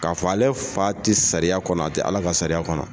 K'a fɔ ale fa ti sariya kɔnɔ, a ti Ala ka sariya kɔnɔ.